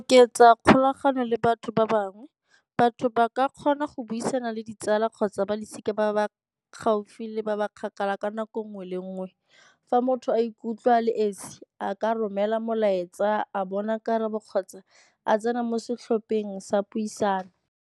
Oketsa kgolagano le batho ba bangwe. Batho ba ka kgona go buisana le ditsala kgotsa balosika ba ba gaufi le ba ba kgakala ka nako nngwe le nngwe. Fa motho a ikutlwa a le esi a ka romela molaetsa a bona karabo kgotsa a tsena mo setlhopheng sa puisano.